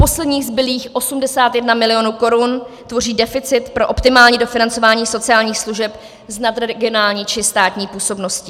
Posledních zbylých 81 milionů korun tvoří deficit pro optimální dofinancování sociálních služeb s nadregionální či státní působností.